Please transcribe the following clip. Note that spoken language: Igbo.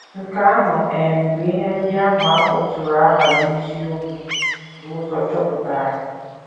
Nke ahụ um bụ ihe ndị ahụ a kpọtụrụ aha n’isiokwu bu ụzọ chọpụtara.